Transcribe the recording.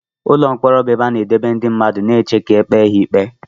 Ụlọ mkpọrọ bụ ebe a na-edebe ndị mmadụ na-eche ka ekpe ha ikpe.